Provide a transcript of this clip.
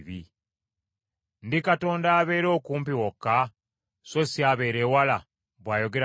“Ndi Katonda abeera okumpi wokka, so si abeera ewala?” bw’ayogera Mukama .